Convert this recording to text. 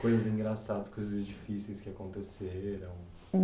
Coisas engraçadas, coisas difíceis que aconteceram?